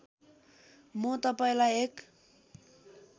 म तपाईँलाई एक